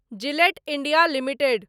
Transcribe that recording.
Gillette India limited